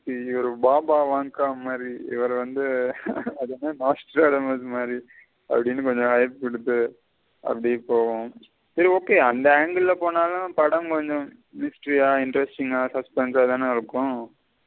சரி okay அந்த angle ல போனாலும் படம் கொஞ்சம் interesting அ response ஆதன இருக்கும்.